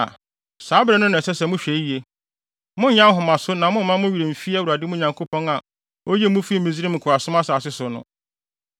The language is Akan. a, saa bere no na ɛsɛ sɛ mohwɛ yiye. Monnyɛ ahomaso na mommma mo werɛ mmfi Awurade mo Nyankopɔn a oyii mo fii Misraim nkoasom asase so no.